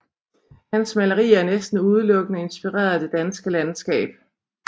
Hans malerier er næsten udelukkende inspireret af det danske landskab